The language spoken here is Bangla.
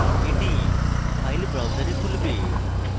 এটি file browser খুলবে